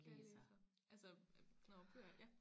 Jeg læser altså nårh bøger ja